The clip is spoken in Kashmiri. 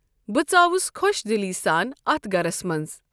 بہٕ ژاوُس خۄش دِلی سان اَتھ گَرَس منٛز۔